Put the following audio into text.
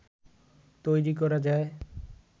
তৈরি করা যায়